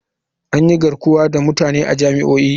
An yi garkuwa da mutane a jami'o'i.